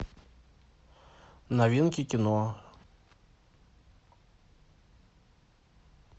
новинки кино